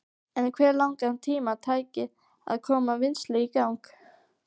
En hve langan tíma tæki að koma vinnslu í gang?